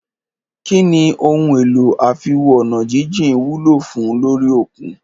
Kínní ohun èlò àfiwo-ọ̀nàjíjìn wúlò fùn ún lórí òkun?